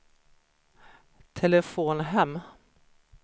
telefon hem